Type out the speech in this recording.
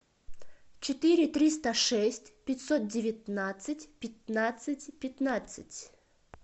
четыре триста шесть пятьсот девятнадцать пятнадцать пятнадцать